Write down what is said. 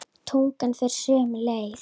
Tungan fer sömu leið.